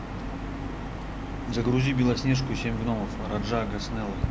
загрузи белоснежку и семь гномов раджа госнеллы